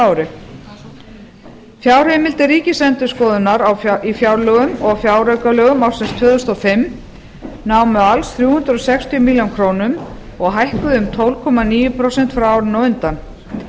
ári fjárheimildir ríkisendurskoðunar í fjárlögum og fjáraukalögum ársins tvö þúsund og fimm námu alls þrjú hundruð sextíu milljónir króna og hækkuðu um tólf komma níu prósent frá árinu á undan